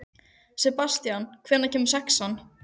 Sebastían, hvenær kemur sexan?